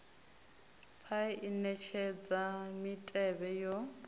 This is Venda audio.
paia i netshedza mitevhe yo